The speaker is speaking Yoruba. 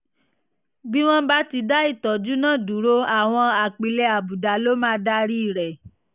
bí wọ́n bá ti dá ìtọ́jú náà dúró àwọn apilẹ̀ àbùdá ló máa darí rẹ̀